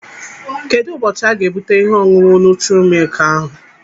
Kedụ ụbọchị aga-ebute ihe ọṅụṅụ nutri-milk ahụ?